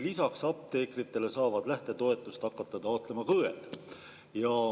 Lisaks apteekritele saavad lähtetoetust taotlema hakata õed.